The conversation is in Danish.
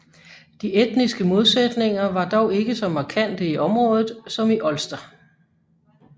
De etniske modsætninger var dog ikke så markante i området som i Ulster